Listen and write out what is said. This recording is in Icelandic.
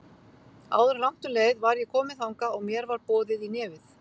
Áður en langt um leið var ég komin þangað og mér var boðið í nefið.